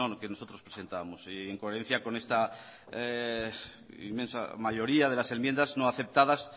que nosotros presentábamos y en coherencia con esta inmensa mayoría de las enmiendas no aceptadas